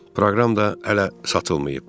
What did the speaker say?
Proqram da hələ satılmayıb.